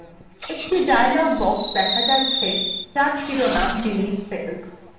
একটি dialog box দেখা যাচ্ছে যার শিরোনাম delete cells